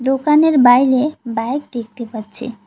দোকানের বাইরে বাইক দেখতে পাচ্ছি।